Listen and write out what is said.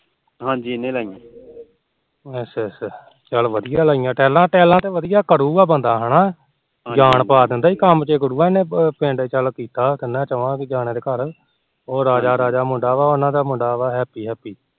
ਚੱਲ ਵਧੀਆਂ ਲਾਈਆਂ tall talla ਤੇ ਵਧੀਆਂ ਘੜੂਗਾ ਬੰਦਾ ਹਨਾ ਜਾਨ ਪਾ ਦਿੰਦਾ ਕੰਮ ਚ ਗੁੜੂਆ ਪਿੰਡ ਚ ਕੀਤੇ ਤਿਨਾ ਚੋਆ ਦੇ ਉਹ ਰਾਜਾ ਰਾਜਾ ਮੁਡਾ ਆ ਉਹਨਾ ਦਾ ਮੁੰਡਾ ਆ ਹੈਪੀ